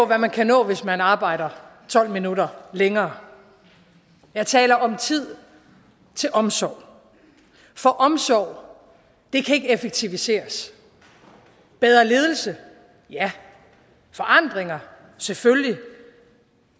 hvad man kan nå hvis man arbejder tolv minutter længere jeg taler om tid til omsorg og omsorg kan ikke effektiviseres bedre ledelse ja og forandringer selvfølgelig